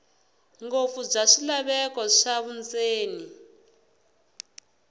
ngopfu bya swilaveko swa vundzeni